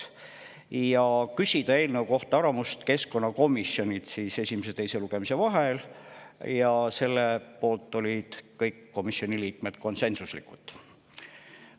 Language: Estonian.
Ja tehti ettepanek küsida eelnõu kohta keskkonnakomisjoni arvamust selle esimese ja teise lugemise vahel, selle poolt olid kõik komisjoni liikmed konsensuslikult.